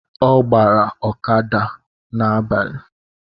Ọ ọgbara ọkada n’agbalị